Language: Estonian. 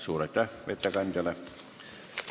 Suur aitäh ettekandjale!